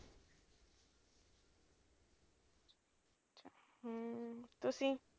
ਤੁਸੀਂ